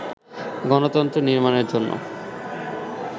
গণতন্ত্র নির্মাণের জন্য